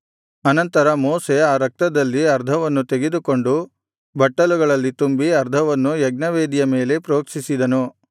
ಅನಂತರ ಮೋಶೆ ಆ ರಕ್ತದಲ್ಲಿ ಅರ್ಧವನ್ನು ತೆಗೆದುಕೊಂಡು ಬಟ್ಟಲುಗಳಲ್ಲಿ ತುಂಬಿ ಅರ್ಧವನ್ನು ಯಜ್ಞವೇದಿಯ ಮೇಲೆ ಪ್ರೋಕ್ಷಿಸಿದನು